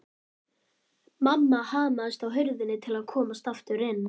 Mamma hamaðist á hurðinni til að komast aftur inn.